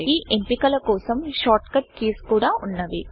ఈ ఎంపికల కోసం షార్ట్కట్ కీస్ కూడా వున్నవి